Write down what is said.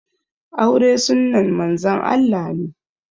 Aure sunnan Manzon Allah ne